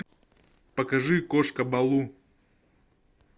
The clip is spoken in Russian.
покажи кошка балу